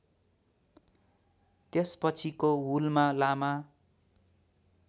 त्यसपछिको हुलमा लामा